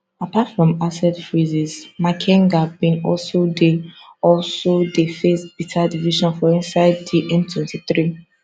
apart from asset freezes makenga bin also dey also dey face bitter division for inside di m23